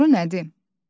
Doğru nədir?